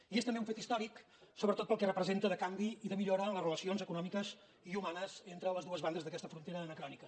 i és també un fet històric sobretot pel que representa de canvi i de millora en les relacions econòmiques i humanes entre les dues bandes d’aquesta frontera anacrònica